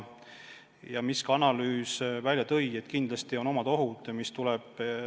Ja veel tõi analüüs välja, et kindlasti omad ohud ühendamisel on.